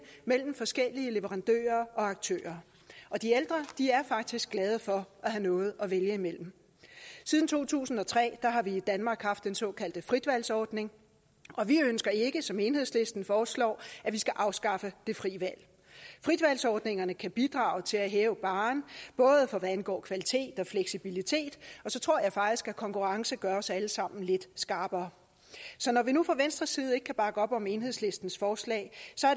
mellem forskellige leverandører og aktører og de ældre er faktisk glade for at have noget at vælge imellem siden to tusind og tre har vi i danmark haft den såkaldte fritvalgsordning og vi ønsker ikke som enhedslisten foreslår at afskaffe det frie valg fritvalgsordningerne kan bidrage til at hæve barren både hvad angår kvalitet og fleksibilitet og så tror jeg faktisk at konkurrence gør os alle sammen lidt skarpere så når vi nu fra venstres side ikke kan bakke op om enhedslistens forslag